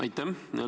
Aitäh!